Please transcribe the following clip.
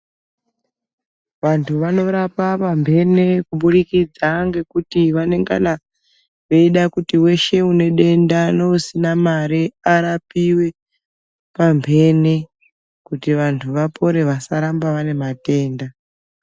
Vantu vanorapa pamhene kubudikidza ngekuti vanengana veida kuti veshe unedenda neusina mare arapive pamhene. Kuti vantu vapore vasaramba vane matenda.